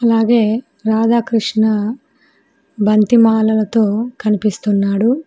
అలాగే రాధ క్రిష్ణ బంతి మాలలతో కనిపిస్తున్నాడు.